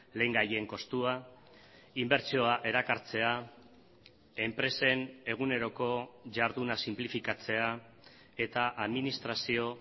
lehengaien kostua inbertsioa erakartzea enpresen eguneroko jarduna sinplifikatzea eta administrazio